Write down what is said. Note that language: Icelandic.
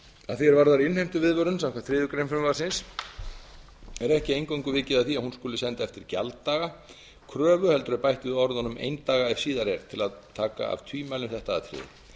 því er varðar innheimtuviðvörun samkvæmt þriðju greinar frumvarpsins er ekki eingöngu vikið að því að hún skuli send eftir gjalddaga kröfu heldur er bætt við orðunum eindaga ef síðar er til að taka af tvímæli um þetta atriði